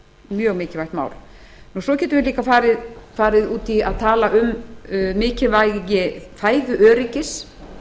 mjög mikilvægt mál svo getum við líka farið út í að tala um mikilvægi fæðuöryggis